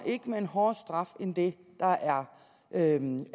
med en hårdere straf end hvad der er rimeligt i